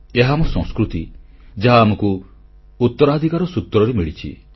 ଏହା ଆମ ସଂସ୍କୃତି ଯାହା ଆମକୁ ଉତ୍ତରାଧିକାର ସୂତ୍ରରେ ମିଳିଛି